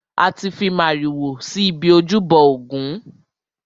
A ti fi màrìwò si ibi ojúbọ ògún.